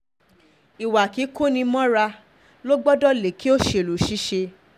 ìwà kíkọ́ni-mọ́ra ló gbọdọ̀ lékè òṣèlú ṣiṣẹ́